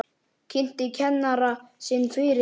Kynnti kennara sinn fyrir þeim.